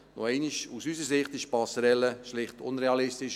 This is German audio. Noch einmal: Aus unserer Sicht ist die Passerelle schlicht unrealistisch.